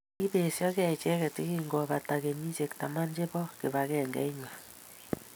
Kiipesyokey icheget yekingobata kenyisyek taman che po kibakengeit nywa.